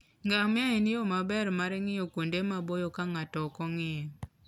Ngamia en yo maber mar ng'iyo kuonde maboyo ka ng'ato ok ong'iyo.